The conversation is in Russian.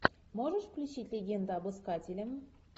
можешь включить легенда об искателе